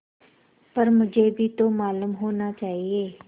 पर मुझे भी तो मालूम होना चाहिए